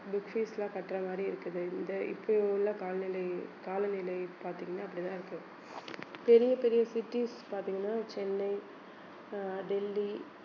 book fees எல்லாம் கட்டுற மாதிரி இருக்குது இந்த இப்போ உள்ள காலநிலை காலநிலை பார்த்தீங்கன்னா இப்படித்தான் இருக்கு பெரிய பெரிய cities பார்த்தீங்கன்னா சென்னை அஹ் டெல்லி